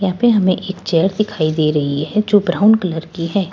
यहां पे हमें एक चेयर दिखाई दे रही है जो ब्राउन कलर की है।